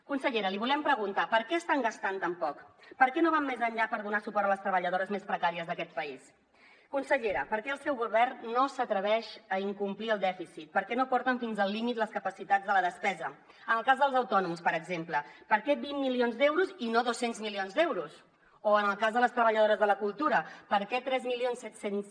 consellera l’hi volem preguntar per què estan gastant tan poc per què no van més enllà per donar suport a les treballadores més precàries d’aquest país consellera per què el seu govern no s’atreveix a incomplir el dèficit per què no porten fins al límit les capacitats de la despesa en el cas dels autònoms per exemple per què vint milions d’euros i no dos cents milions d’euros o en el cas de les treballadores de la cultura per què tres mil set cents